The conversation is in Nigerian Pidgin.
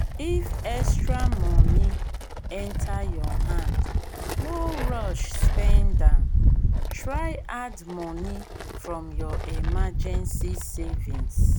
if extra money enter your hand no rush spend am try add money from your emergency savings